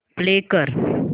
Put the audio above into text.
play कर